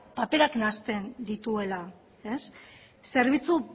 nahasten dituela zerbitzu